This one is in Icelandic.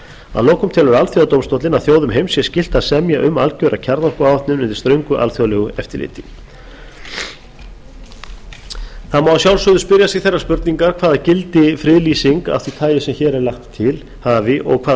að lokum telur alþjóðadómstóllinn að þjóðum heims sé skylt að semja um algjöra kjarnorkuáætlun undir ströngu alþjóðlegu eftirliti það má að sjálfsögðu spyrja sig þeirrar spurningar hvaða gildi friðlýsing af því tagi sem hér er lagt til hafi og hvaða